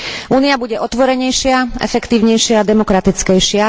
Únia bude otvorenejšia, efektívnejšia, demokratickejšia.